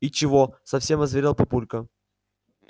и чего совсем озверел папулька